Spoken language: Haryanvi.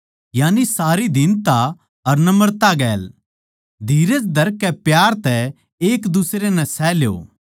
यानी सारी दीनता अर नम्रता गैल धीरज धरकै प्यार तै एक दुसरै नै सह ल्यो